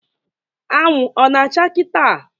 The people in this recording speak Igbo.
Anwụ ọ na-acha kịta?